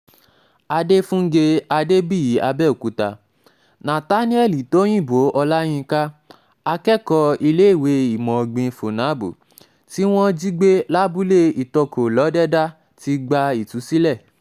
adéfúnge adébíyì àbẹ̀òkúta nathaniellì tọ̀yìnbọ̀ ọláyinka akẹ́kọ̀ọ́ iléèwé ìmọ̀ ọ̀gbìn funaabù tí wọ́n jí gbé lábúlé itọ́kọ lọ́dẹ̀dà ti gba ìtúsílẹ̀